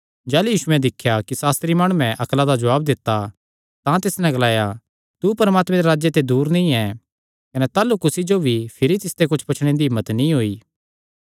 जाह़लू यीशुयैं दिख्या कि सास्त्री माणुयैं अक्ला दा जवाब दित्ता तां तिस नैं ग्लाया तू परमात्मे दे राज्जे ते दूर नीं ऐ कने ताह़लू कुसी जो भी भिरी तिसते कुच्छ पुछणे दी हिम्मत नीं होई